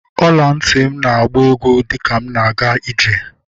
Ọla ntị m na-agba egwú dịka m na-aga ije